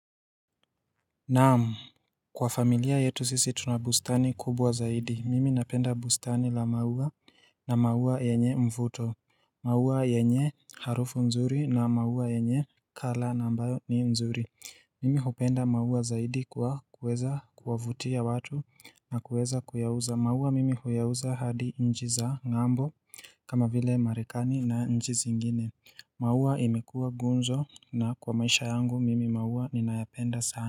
Na'am, kwa familia yetu sisi tuna bustani kubwa zaidi. Mimi napenda bustani la maua na maua yenye mvuto. Maua yenye harufu nzuri na maua yenye kala nambayo ni nzuri. Mimi hupenda maua zaidi kwa kuweza kuwavutia watu na kuweza kuyauza. Maua mimi huyauza hadi nchi za ng'ambo. Kama vile Marekani na nchi zingine. Maua imekua gunzo na kwa maisha yangu mimi maua ninayapenda sana.